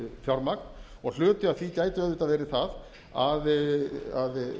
fjármagn og hluti af því gæti auðvitað verið það að